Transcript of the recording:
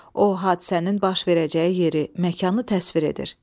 O hadisənin baş verəcəyi yeri, məkanı təsvir edir.